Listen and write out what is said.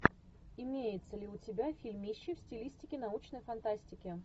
имеется ли у тебя фильмище в стилистике научной фантастики